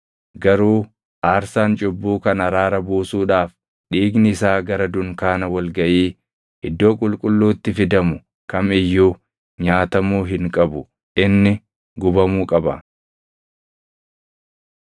Garuu aarsaan cubbuu kan araara buusuudhaaf dhiigni isaa gara dunkaana wal gaʼii Iddoo Qulqulluutti fidamu kam iyyuu nyaatamuu hin qabu; inni gubamuu qaba.